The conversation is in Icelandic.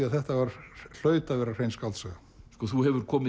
að þetta hlaut að vera hrein skáldsaga þú hefur komið